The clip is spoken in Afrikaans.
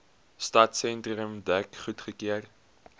stadsentrum dek goedgekeur